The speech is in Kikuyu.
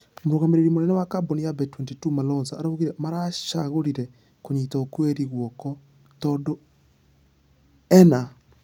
Mũrũgamĩrĩri mũnene wa kambũni ya bet22 malonza araugire maracagũrire kũnyita okwiri guoko tũndũ ĩna .....